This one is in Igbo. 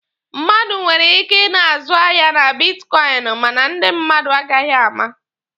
Mmadụ nwere ike ị na-azụ ahịa na bitkọịnị mana ndị mmadụ agaghị ama.